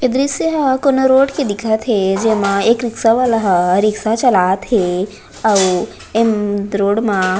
ई दृश्य हा कोनो रोड के दिखत हे जेमा एक रिक्शा वाले हा रिक्शा चलात हे आउ इन रोड मा--